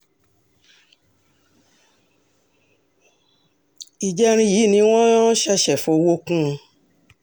ìjẹrin yìí ni wọ́n um ṣẹ̀ṣẹ̀ fọwọ́ kún un